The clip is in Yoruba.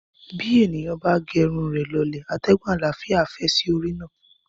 Bí èèyàn bá ge irun rẹ̀ lọlẹ̀, atẹ́gùn àlàáfíà á fẹ́ sí orí náà.